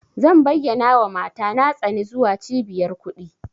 Zan bayyanawa mata na tsani zuwa cibiyar kuɗi.